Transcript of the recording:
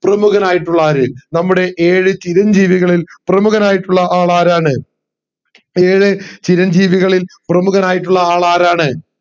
പ്രമുഖനായിട്ടുള്ള ആര് നമ്മുടെ ഏഴ് ചിരഞ്ജീവികളിൽ പ്രമുഖനായിട്ടുള്ള ആരണ് ഏഴ് ചിരഞ്ജീവികളിൽ പ്രമുഖനായിട്ടുള്ള ആരണ്